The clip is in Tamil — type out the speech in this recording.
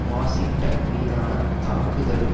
வாஷிங்டன் மீதான தாக்குதலுக்கு